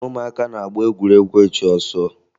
Ụmụaka na-agba egwuregwu ịchụ ọsọ